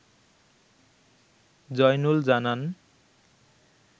জয়নুল জানান